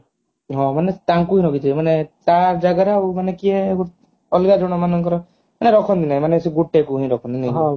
ହଁ ମାନେ ତାଙ୍କୁ ଭାବିଥିବେ ମାନେ ତା ଜାଗା ରେ ଆଉ ଜଣେ କିଏ ଅଲଗା ଜଣ ମାନଙ୍କର ରଖନ୍ତି ନାହିଁ ମାନେ ସେ ଗୋଟେ କୁ ହିଁ ରଖନ୍ତି ନାଇ କି